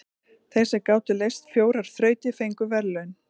Þeir sem gátu leyst fjórar þrautir fengu verðlaun.